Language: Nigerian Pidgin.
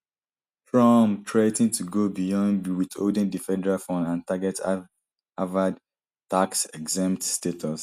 trump threa ten to go beyond withholding di federal funds and target harvard taxexempt status